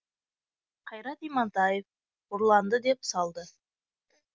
қайрат имантаев ұрланды деп салды